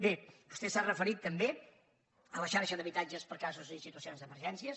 bé vostè s’ha referit també a la xarxa d’habitatges per a casos i situacions d’emergències